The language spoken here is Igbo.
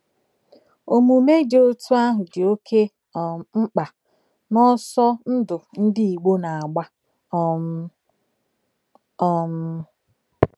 Omume dị otú ahụ dị oké um mkpa n’ọsọ ndụ ndị Igbo na-agba um. um